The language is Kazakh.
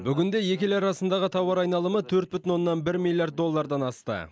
бүгінде екі ел арасындағы тауар айналымы төрт бүтін оннан бір миллиард доллардан асты